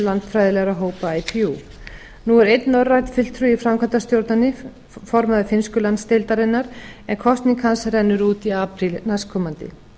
landfræðilegra hópa ipu nú er einn norrænn fulltrúi í framkvæmdastjórninni formaður finnsku landsdeildarinnar en kosning að rennur út í apríl næstkomandi